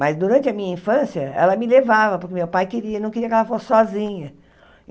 Mas durante a minha infância, ela me levava, porque meu pai queria, não queria que ela fosse sozinha.